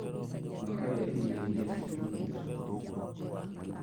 Makarĩa irio iria irugiirwo cukuru